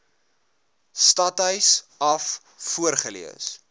stadhuis af voorgelees